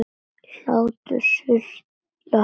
Hlátur sullast út úr henni.